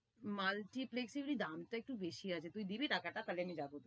Multiplex এ may be দামটা একটু বেশি আছে, তুই দিবি টাকাটা তাইলে আমি যাবো।